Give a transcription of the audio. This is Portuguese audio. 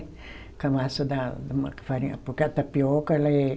Com a massa da da farinha, porque a tapioca ela é...